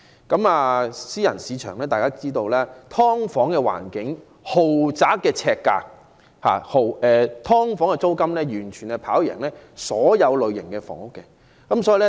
大家也知道私人市場的情況，"劏房"環境，豪宅呎價，"劏房"的租金高於所有類型的房屋。